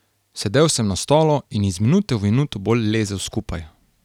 Sedel sam na stolu in iz minute v minuto bolj lezel skupaj.